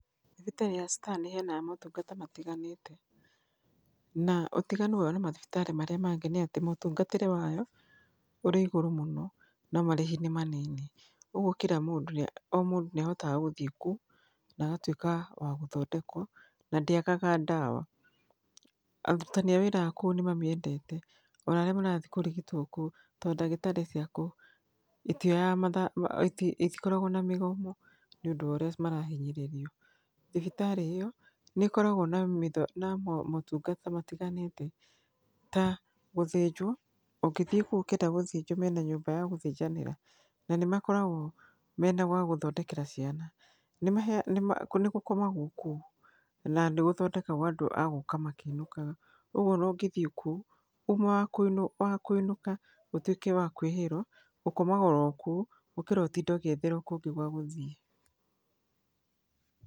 Thibitarĩ ya Star nĩ ĩheyanaga motungata matiganĩte. Na ũtiganu wao na mathibitarĩ marĩa mangĩ nĩatĩ, mũtungatĩre wao ũrĩ igũru mũno, na marĩhi nĩ manini. Ũguo kira mũndũ, o mũndũ nĩ ahotaga gũthiĩ kũu, na agatuĩka wa gũthondekwo, na ndĩagaga ndawa. Aruti a wĩra a kũu nĩ mamĩendete. Na arĩa marathiĩ kũrigitwo kũu, tondũ ndagĩtarĩ cia kũu, itikoragwo na mĩgomo, nĩũndũ wa ũrĩa marahinyĩrĩrio. Thibitari ĩyo, nĩ ĩkoragwo na motungata matiganĩte ta gũthĩnjwo. Ũngĩthiĩ kũu ũkĩenda gũthĩnjwo nĩ makoragwo na nyũmba ya gũthĩnjanĩra. Nĩ makoragwo mena gwagũthondekera ciana. Nĩgũkomagwo kũu, na nĩgũthondekagwo andũ a gũka makĩinũkaga. Ũguo onaũngĩthiĩ kũu, uma wa kũinũka ũtuĩke wa kũĩhĩrwo, ũkomaga orokũu, gũkĩra ũtinde ũgĩetherwo kũngĩ gwa gũthiĩ.